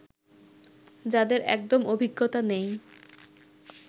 যাদের একদম অভিজ্ঞতা নেই